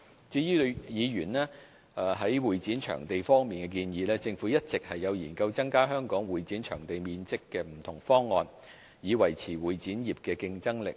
至於議員在會展場地方面的建議，政府一直有研究增加香港會展場地面積的不同方案，以維持會展業的競爭力。